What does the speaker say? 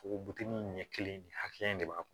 Fogo bili in ɲɛ kelen ni hakɛya in de b'a kɔnɔ